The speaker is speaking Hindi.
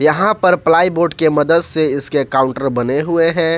यहां पर प्लाईवुड के मदद से इसके काउंटर बने हुए हैं।